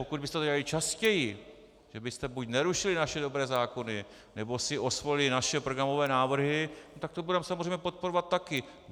Pokud byste to dělali častěji, že byste buď nerušili naše dobré zákony, nebo si osvojili naše programové návrhy, tak to budeme samozřejmě podporovat taky.